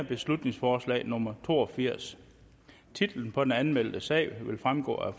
beslutningsforslag nummer to og firs titlen på den anmeldte sag vil fremgå af